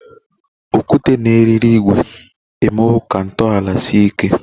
Okwute na eriri ígwè emewo ka ntọala sie ike.